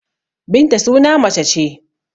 Binta suna mace ce.